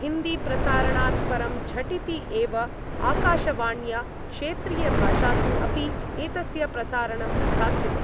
हिन्दीप्रसारणात् परं झटिति एव आकाशवाण्या क्षेत्रीयभाषासु अपि एतस्य प्रसारणं विधास्यते।